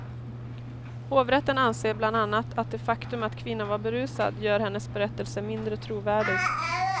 Hovrätten anser bland annat att det faktum att kvinnan var berusad gör hennes berättelse mindre trovärdig.